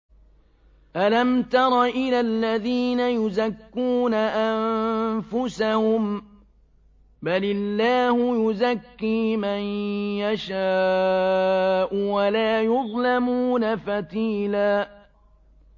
أَلَمْ تَرَ إِلَى الَّذِينَ يُزَكُّونَ أَنفُسَهُم ۚ بَلِ اللَّهُ يُزَكِّي مَن يَشَاءُ وَلَا يُظْلَمُونَ فَتِيلًا